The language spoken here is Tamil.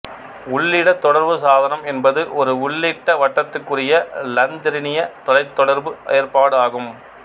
உள்ளிட தொடர்பு சாதனம் என்பது ஒரு உள்ளிட வட்டத்துக்குரிய இலந்திரனிய தொலைத்தொடர்பு ஏற்பாடு ஆகும்